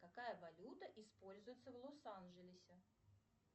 какая валюта используется в лос анджелесе